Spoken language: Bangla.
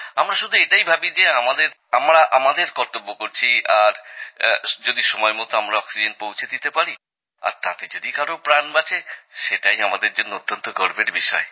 আমরা শুধু এটাই ভাবি যে আমরা আমাদের কর্তব্য করছি এবং যদি সময়মতো আমরা অক্সিজেন পৌঁছে দিতে পারি আর তাতে যদি কারো প্রাণ বাঁচে সেটাই আমাদের জন্য অত্যন্ত গর্বের বিষয়